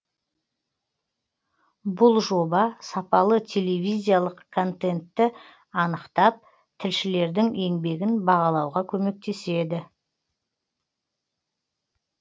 бұл жоба сапалы телевизиялық контентті анықтап тілшілердің еңбегін бағалауға көмектеседі